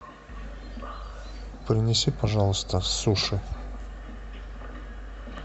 принеси пожалуйста суши